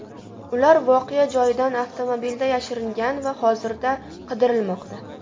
Ular voqea joyidan avtomobilda yashiringan va hozirda qidirilmoqda.